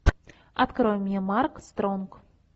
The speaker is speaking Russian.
открой мне марк стронг